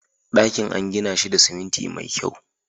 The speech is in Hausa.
Dakin an gina shi da siminti mai kyau